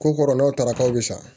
Ko kɔrɔlaw taara k'aw bɛ sa